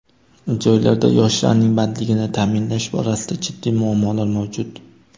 Joylarda yoshlarning bandligini ta’minlash borasida jiddiy muammolar mavjud.